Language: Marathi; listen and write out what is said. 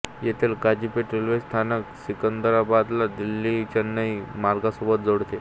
येथील काझीपेठ रेल्वे स्थानक सिकंदराबादला दिल्लीचेन्नई मार्गासोबत जोडते